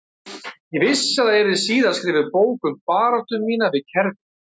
Ég vissi að það yrði síðar skrifuð bók um baráttu mína við kerfið